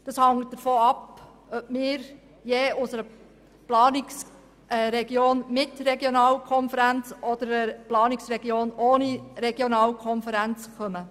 Unsere Einschätzungen hängen davon ab, ob wir aus einer Planungsregion mit Regionalkonferenz oder aus einer Planungsregion ohne Regionalkonferenz kommen.